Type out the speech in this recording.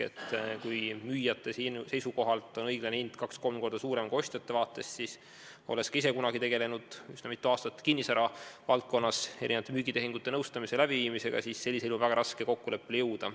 Kui müüjate seisukohalt on õiglane hind kaks-kolm korda suurem kui ostjate vaates, siis – olles ka ise kunagi üsna mitu aastat kinnisvaravaldkonnas erinevate müügitehingute nõustamise ja läbiviimisega tegelnud – on väga raske kokkuleppele jõuda.